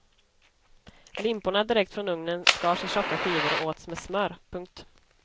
Limporna direkt från ugnen skars i tjocka skivor och åts med smör. punkt